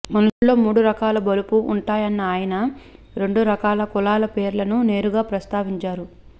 మనుషుల్లో మూడు రకాల బలుపు ఉంటాయన్న ఆయన రెండు రకాల కులాల పేర్లను నేరుగా ప్రస్తావించారు